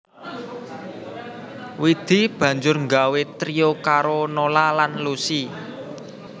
Widi banjur nggawé trio karo Nola lan Lusi